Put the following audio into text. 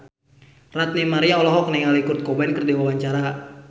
Ranty Maria olohok ningali Kurt Cobain keur diwawancara